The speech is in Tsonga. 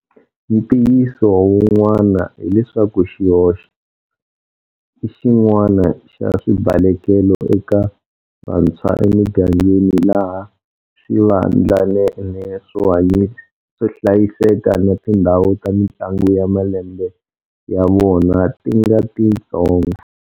Ntiyiso wun'wani hileswaku xihoko i xin'wana xa swibalekelo eka vantshwa emigangeni laha swivandlanene swo hlayiseka na tindhawu ta mitlangu ya malembe ya vona ti nga titsongo.